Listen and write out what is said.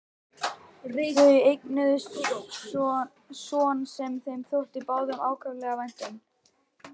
Þau eignuðust son sem þeim þótti báðum ákaflega vænt um.